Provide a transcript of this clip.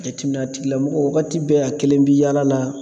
Jateminɛn a tigilamɔgɔ wagati bɛɛ a kelen bɛ yaala la.